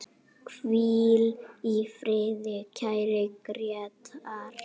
Hvíl í friði, kæri Grétar.